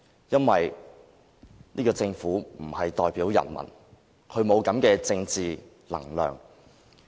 因為這個政府不能代表人民，它沒有這種政治能量。